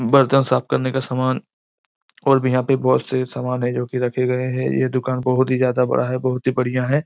बर्तन साफ करने का समान और भी यहाँ पे बहोत से समान है जोकि रखे गए है यह दुकान बहोत ही ज्यादा बड़ा है बहुत ही बढ़िया है।